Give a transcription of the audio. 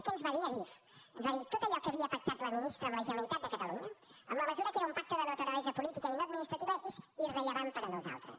què ens va dir adif ens va dir tot allò que havia pactat la ministra amb la generalitat de catalunya en la mesura que era un pacte de naturalesa política i no administrativa és irrellevant per a nosaltres